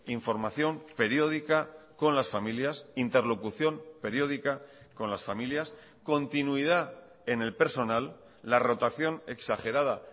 información periódica con las familias interlocución periódica con las familias continuidad en el personal la rotación exagerada